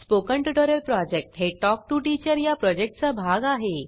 spoken tutorial project हे talk to teacher या प्रॉजेक्टचा भाग आहे